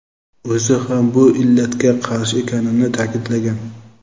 o‘zi ham bu illatga qarshi ekanini ta’kidlagan.